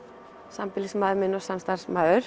sambýlismaður minn og samstarfsmaður